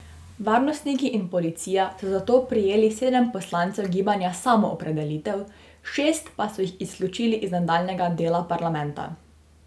Varnostniki in policija so zato prijeli sedem poslancev gibanja Samoopredelitev, šest pa so jih izključili iz nadaljnjega dela parlamenta.